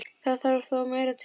Það þarf þó meira til.